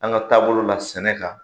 An ka taabolo la sɛnɛ kan.